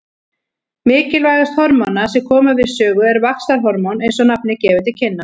Mikilvægast hormóna sem koma við sögu er vaxtarhormón eins og nafnið gefur til kynna.